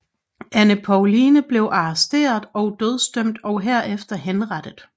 Ane Povline blev arresteret og dødsdømt og herefter henrettet